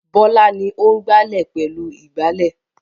Bọ́lá ni ó ń gbálẹ̀ pẹ̀lú ìgbálẹ̀.